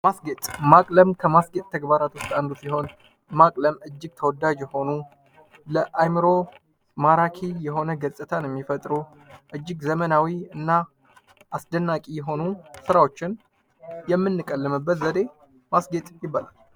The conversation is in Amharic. ማስጌጥ ማቅለም ከማስጌጥ ተግባራቶች ውስጥ አንዱ ሲሆን ማቅለም እጅግ ተወዳጅ የሆኑ ለአይምሮ ማራኪ የሆነን ገጽታ የሚፈጥሩ እጅግ ዘመናዊ እና አስደናቂ የሆኑ ስራዎችን የምንቀልምበት ዘዴ ማስስጌጥ ይባላል።